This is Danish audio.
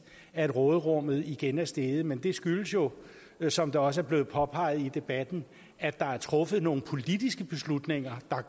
at råderummet igen er steget men det skyldes jo som det også er blevet påpeget i debatten at der er truffet nogle politiske beslutninger der